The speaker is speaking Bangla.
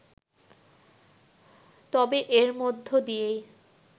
তবে এর মধ্যে দিয়েই